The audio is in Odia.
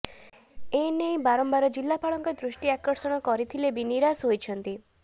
ଏନେଇ ବାରମ୍ବାର ଜିଲାପାଳଙ୍କ ଦୃଷ୍ଟି ଆକର୍ଷଣ କରିଥିଲେ ବି ନୀରାଷ୍ ହୋଇଛନ୍ତି